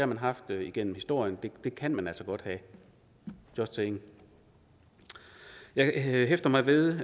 man haft igennem historien og det kan man altså godt have just saying jeg hæfter mig ved